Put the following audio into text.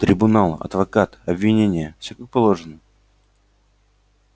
трибунал адвокат обвинение всё как положено